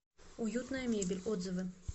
уютная мебель отзывы